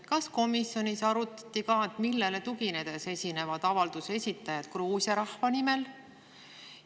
Kas komisjonis arutati ka, millele tuginedes esinevad avalduse esitajad Gruusia rahva nimel?